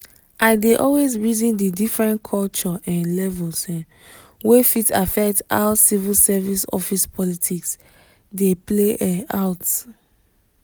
i dey always reason the different culture um levels um wey fit affect how civil service office politics dey play um out.